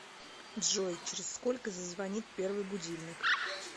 джой через сколько зазвонит первый будильник